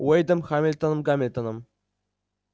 уэйдом хэмптоном гамильтоном